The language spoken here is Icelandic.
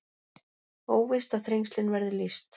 Óvíst að Þrengslin verði lýst